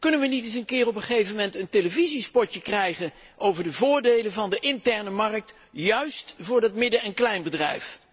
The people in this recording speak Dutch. Kunnen we niet op een gegeven moment een televisiespotje krijgen over de voordelen van de interne markt, precies voor het midden en kleinbedrijf?